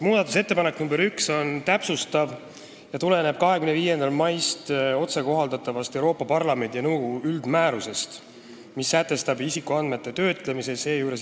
Muudatusettepanek nr 1 on täpsustav ja tuleneb alates 25. maist otsekohaldatavast Euroopa Parlamendi ja nõukogu üldmäärusest, mis sätestab isikuandmete töötlemise.